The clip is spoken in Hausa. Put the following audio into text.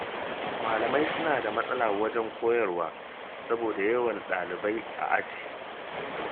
Malamai suna da matsala wajen koyarwa saboda yawan ɗalibai a aji.